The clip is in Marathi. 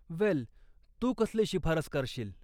वेल, तू कसली शिफारस करशील?